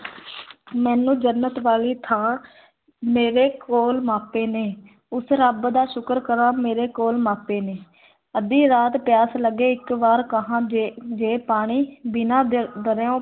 ਮੈਨੂੰ ਜੰਨਤ ਵਾਲੀ ਥਾਂ ਮੇਰੇ ਕੋਲ ਮਾਪੇ ਨੇ ਉਸ ਰੱਬ ਦਾ ਸ਼ੁਕਰ ਕਰਾਂ, ਮੇਰੇ ਕੋਲ ਮਾਪੇ ਨੇ ਅੱਧੀ ਰਾਤ ਪਿਆਸ ਲੱਗੇ, ਇੱਕ ਵਾਰ ਕਹਾਂ ਜੇ ਜੇ ਪਾਣੀ ਬਿਨਾਂ ਦਰ ਦਰਿਆਓ